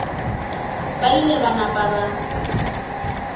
ba ile ba napa ba